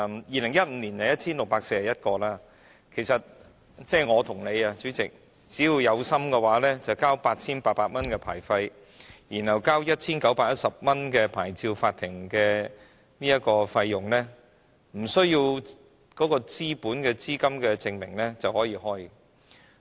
2015年持牌放債人有 1,641 個，主席，其實我和你只要有心的話，繳交 8,800 元牌費，再向牌照法庭繳交 1,910 元費用，不需要資本資金證明，便可以開業。